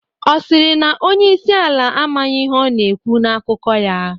Ọ sịrị na onyeisi ala amaghị ihe ọ na-ekwu na akụkọ ya?